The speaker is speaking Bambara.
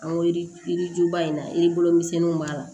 An yirijuba in na yirikoro misɛnninw b'a la